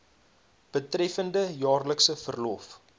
betreffende jaarlikse verlof